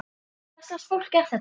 Hvers lags fólk er þetta?